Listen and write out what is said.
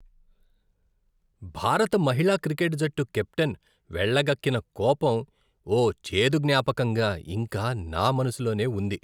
భారత మహిళా క్రికెట్ జట్టు కెప్టెన్ వెళ్లగక్కిన కోపం ఓ చేదు జ్ఞాపకంగా ఇంకా నా మనసులోనే ఉంది.